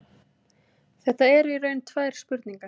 Þetta eru í raun tvær spurningar.